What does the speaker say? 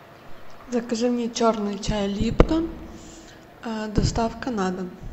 закажи мне черный чай липтон доставка на дом